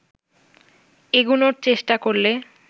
এগুনোর চেষ্টা করলে